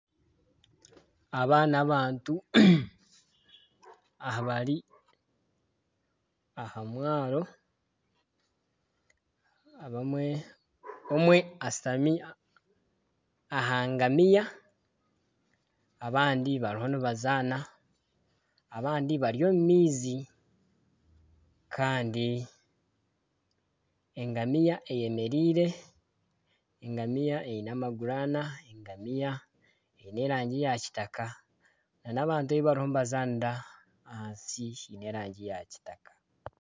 Aba ni abantu abari aha mwaaro. Omwe ashutami aha ngamiya abandi bariho nibazaana, abandi bari omu maizi kandi engamiya eyemereire. Engamiya eine amaguru ana, engamiya eine erangi ya kitaka nana abantu ahi bariyo nibazanira ahansi haine erangi ya kitaka.